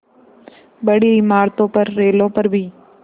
बड़ी इमारतों पर रेलों पर भी